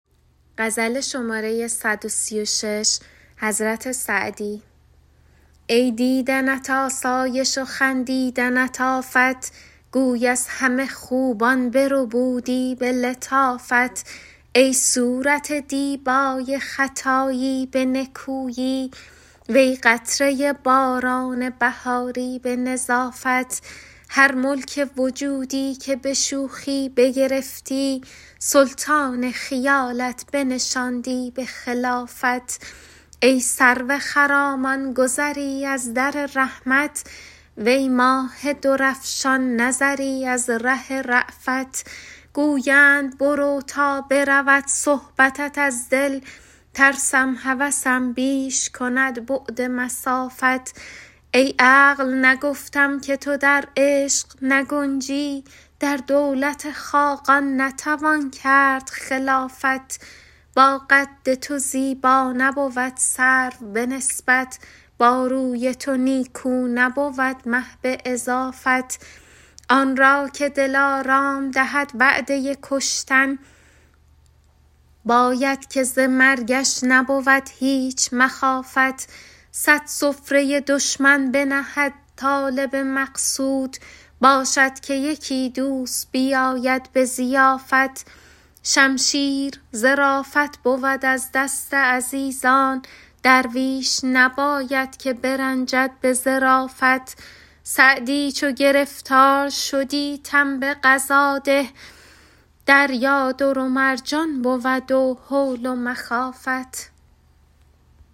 ای دیدنت آسایش و خندیدنت آفت گوی از همه خوبان بربودی به لطافت ای صورت دیبای خطایی به نکویی وی قطره باران بهاری به نظافت هر ملک وجودی که به شوخی بگرفتی سلطان خیالت بنشاندی به خلافت ای سرو خرامان گذری از در رحمت وی ماه درفشان نظری از سر رأفت گویند برو تا برود صحبتت از دل ترسم هوسم بیش کند بعد مسافت ای عقل نگفتم که تو در عشق نگنجی در دولت خاقان نتوان کرد خلافت با قد تو زیبا نبود سرو به نسبت با روی تو نیکو نبود مه به اضافت آن را که دلارام دهد وعده کشتن باید که ز مرگش نبود هیچ مخافت صد سفره دشمن بنهد طالب مقصود باشد که یکی دوست بیاید به ضیافت شمشیر ظرافت بود از دست عزیزان درویش نباید که برنجد به ظرافت سعدی چو گرفتار شدی تن به قضا ده دریا در و مرجان بود و هول و مخافت